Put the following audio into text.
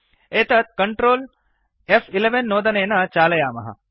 एतत् Ctrl फ्11 नोदनेन चालयामः